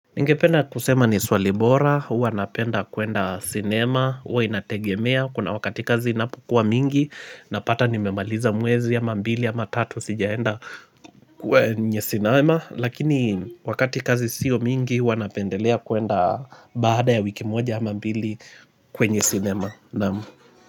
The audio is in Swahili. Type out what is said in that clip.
Ningependa kusema ni swali bora, huwa napenda kuenda cinema, huwa inategemea, kuna wakati kazi inapokuwa mingi, napata nimemaliza mwezi ama mbili ama tatu sijaenda kwenye cinema, lakini wakati kazi siyo mingi huwa napendelea kwenda baada ya wiki moja ama mbili kwenye cinema.